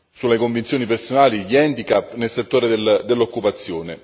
sulle convinzioni personali, di handicap nel settore dell'occupazione.